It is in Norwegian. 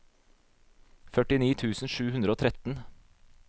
førtini tusen sju hundre og tretten